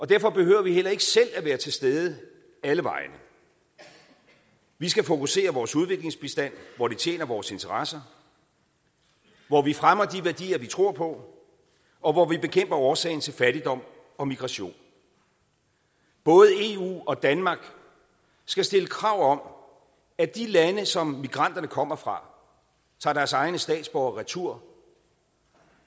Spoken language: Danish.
derfor behøver vi heller ikke selv at være til stede alle vegne vi skal fokusere vores udviklingsbistand hvor det tjener vores interesser hvor vi fremmer de værdier vi tror på og hvor vi bekæmper årsagen til fattigdom og migration både eu og danmark skal stille krav om at de lande som migranterne kommer fra tager deres egne statsborgere retur